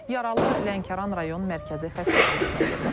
Yaralı Lənkəran rayon mərkəzi xəstəxanasına yerləşdirilib,